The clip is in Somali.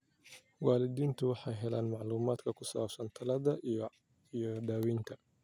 Waalidiintu waxay helaan macluumaadka ku saabsan tallaalada iyo daaweynta.